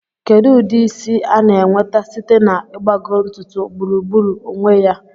Kedu ụdị isi a na-enweta site na ịgbagọ ntutu gburugburu onwe ya?